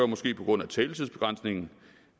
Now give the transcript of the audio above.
måske på grund af taletidsbegrænsningen